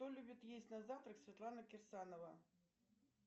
что любит есть на завтрак светлана кирсанова